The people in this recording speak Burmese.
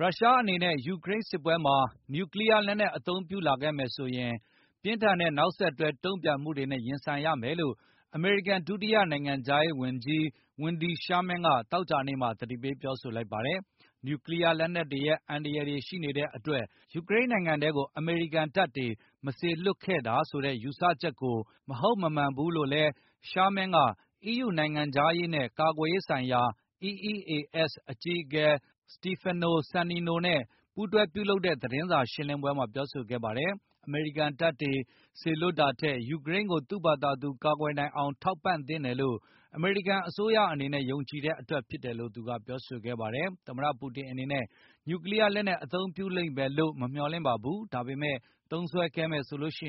ရုရှားအနေနဲ့ ယူကရိန်းစစ်ပွဲမှာ နျူကလီးယား လက်နှက်အသုံးပြုလာခဲ့မယ်လိုဆိုရင် ပြင်းထန်တဲ့နောက်ဆက်တွဲ တုန့်ပြန်မှုတွေနဲ့ရင်ဆိုင်ရမယ်လို့ အမေရိကန်ဒုတိယ နိုင်ငံခြားရေးဝန်ကြီး ဝင်ဒီ ရှားမင်း Wendy Sherman ကသောကြာနေ့မှာ သတိပေးပြောဆိုလိုက်ပါတယ်။ နျူကလီးယားလက်နက်တွေရဲ့အန္တရယ်ရှိနေတဲ့တွက် ယူကရိန်းနိုင်ငံထဲကို အမေရိကန် တပ်တွေကိုမစေ လွှတ်တာဆိုတဲ့ယူဆချက်ကို မဟုတ်မမှန်ဘူးလို့လည်း Sharman က အီးယူနိုင်ငံခြားရေးနဲ့ ကာကွယ်ရေးဆိုင်ရာ EEAS အကြီးအကဲ စတီဖက်နို ဆန်နီနို Stefano Sannino နဲ့ပူးတွဲပြုလုပ်တဲ့သတင်းစာရှင်းလင်းပွဲမှာပြောဆိုခဲ့ပါတယ်။ အမေရိကန်တပ်တွေစလွှတ်တာထက်၊ ယူကရိန်းကိုသူ့ဘာသာသူ ကာကွယ်နိုင်အောင် ထောက်ပံ့သင့်တယ်လို့ အမေရိကန်အစိုးရအနေနဲ့ယုံကြည်တဲ့တွက်ဖြစ်တယ်လို့ ပြောဆိုခဲ့ပါတယ်။ သမတပူတင်အနေနဲ့ နျူကလီးယားလက်နှက် အသုံးပြုလိမ့်မယ်လို့မမျှော်လင့်ပါဘူး၊ ဒါပေမယ့် သုံးခဲ့မယ်ဆိုရင်တော့ ပြ